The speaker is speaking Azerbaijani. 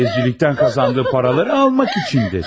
Faizcilikdən qazandığı paraları almaq üçündür.